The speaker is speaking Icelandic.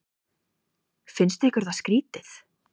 Finnst ykkur það ekki skrýtið?